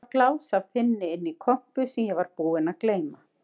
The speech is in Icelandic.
Það var glás af þynni inni í kompu sem ég var búinn að gleyma.